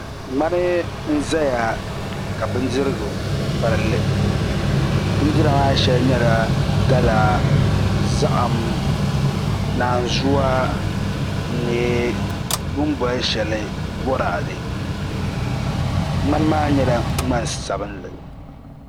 ŋmani n ʒɛya ka bindirigu palli bindira maa shɛli nyɛla gala zaham naanzuwa ni bin boli shɛli boraadɛ ŋmani maa nyɛla ŋmani sabinli